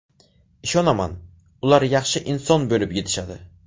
Ishonaman, ular yaxshi inson bo‘lib yetishadi.